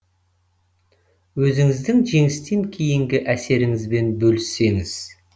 өзіңіздің жеңістен кейінгі әсеріңізбен бөліссеңіз